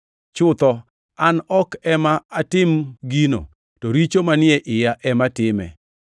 Chutho, an ok ema atim gino, to richo manie iya ema time.